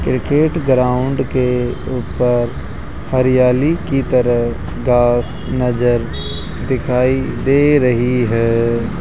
Cricket ground के ऊपर हरियाली की तरह घास नजर दिखाई दे रही है।